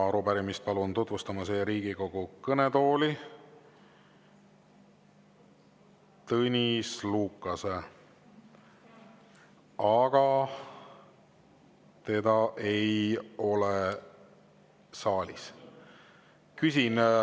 Palun siia Riigikogu kõnetooli arupärimist tutvustama Tõnis Lukase, aga teda ei ole saalis.